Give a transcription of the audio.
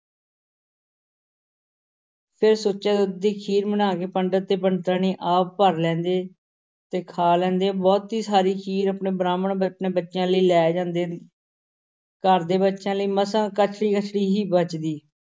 ਫਿਰ ਸੁੱਚੇ ਦੁੱਧ ਦੀ ਖੀਰ ਬਣਾ ਕੇ ਪੰਡਿਤ ਤੇ ਪੰਡਿਤਾਣੀ ਆਪ ਭਰ ਲੈਂਦੇ ਤੇ ਖਾ ਲੈਂਦੇ, ਬਹੁਤੀ ਸਾਰੀ ਖੀਰ ਆਪਣੇ ਬ੍ਰਾਹਮਣ ਆਪਣੇ ਬੱਚਿਆਂ ਲਈ ਲੈ ਜਾਂਦੇ ਘਰ ਦੇ ਬੱਚਿਆਂ ਲਈ ਮਸਾਂ ਕੜਛੀ-ਕੜਛੀ ਹੀ ਬਚਦੀ।